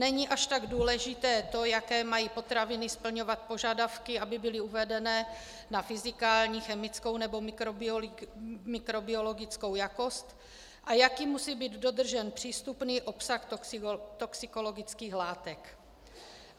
Není až tak důležité to, jaké mají potraviny splňovat požadavky, aby byly uvedené na fyzikální, chemickou nebo mikrobiologickou jakost, a jaký musí být dodržen přístupný obsah toxikologických látek.